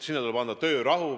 Neile tuleb anda töörahu.